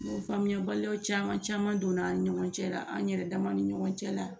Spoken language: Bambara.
Ɲɔgɔn faamuyabaliyaw caman caman don ani ɲɔgɔn cɛ la an yɛrɛ dama ni ɲɔgɔn cɛ la.